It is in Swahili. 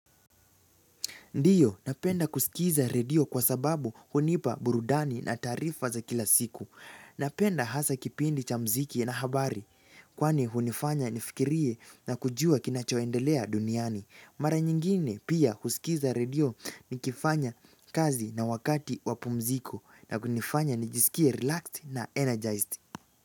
Ndiyo napenda kusikiza redio kwa sababu hunipa burudani na taarifa za kila siku. Napenda hasa kipindi cha mziki na habari kwani hunifanya nifikirie na kujua kinachoendelea duniani. Mara nyingine pia kusikiza redio nikifanya kazi na wakati wa pumziko na kunifanya nijisikie relaxed na energized.